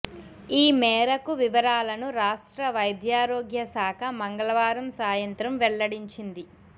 ఈ మేరకు వివరాలను రాష్ట్ర వైద్యారోగ్య శాఖ మంగళవారం సాయంత్రం వెల్లడించింది